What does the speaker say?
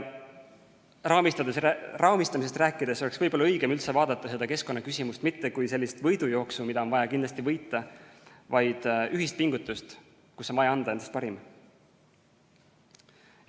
Raamistamisest rääkides oleks võib-olla õigem üldse vaadata seda keskkonnaküsimust mitte kui sellist võidujooksu, mida on vaja kindlasti võita, vaid ühist pingutust, kus on vaja anda endast parim.